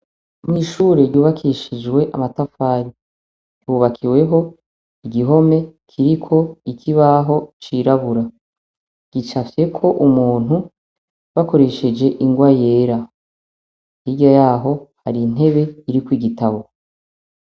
Mw'ishure ryubakishijwe amatafari, ryubakiweho igihome kiriko ikibaho cirabura. Gicafyeko umuntu bakoresheje ingwa yera. Hirya yaho hari intebe iriko igitabo.